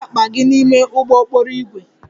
Buru akpa gị n'ime ụgbọ okporo ígwè!